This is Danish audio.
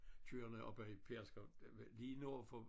Kørerende op ad Pedersker lige nord for